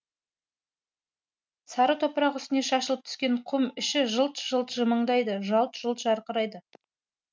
сары топырақ үстіне шашылып түскен құм іші жылт жылт жымыңдайды жалт жұлт жарқырайды